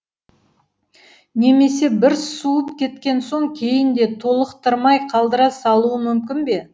немесе бір суып кеткен соң кейін де толықтырмай қалдыра салуы мүмкін бе